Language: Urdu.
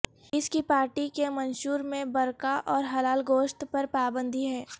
اس کی پارٹی کے منشور میں برقعہ اور حلال گوشت پر پابندی ہے